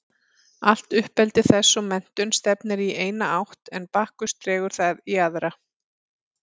Allt uppeldi þess og menntun stefnir í eina átt en Bakkus dregur það í aðra.